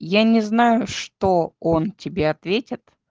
я не знаю что он тебе ответит